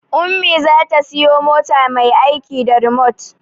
Ummi za ta siya mota mai aiki da rimot